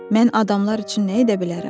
Mən adamlar üçün nə edə bilərəm?